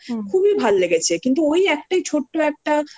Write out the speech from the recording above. দরকার খুবই ভাল্লেগেছে কিন্তু ওই একটাই ছোট্ট